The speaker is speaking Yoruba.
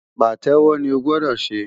Pàtẹ́wọ́ ni o gbọ́dọ̀ ṣe!